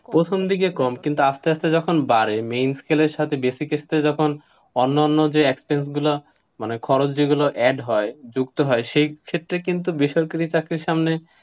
প্রথম দিকে কম কিন্তু আসতে আসতে যখন বারে, main scale এর সাথে basic এর টা যখন, অন্যান্য যে access গুলো, মানে খরচ যেগুলো add হয়, যুক্ত হয়, সেই ক্ষেত্রে কিন্তু বেসরকারি চাকরির সামনে,